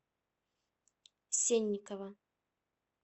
сенникова